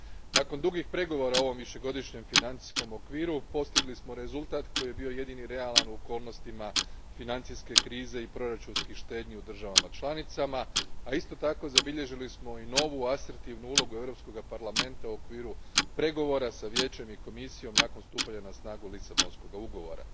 Nakon dugih pregovora o ovom višegodišnjem financijskom okviru postigli smo rezultat koji je bio jedini realan u okolnostima financijske krize i proračunskih štednji u državama članicama, a isto tako zabilježili smo i novu asertivnu ulogu Europskog parlamenta u okviru pregovora s Vijećem i Komisijom nakon stupanja na snagu Lisabonskog ugovora.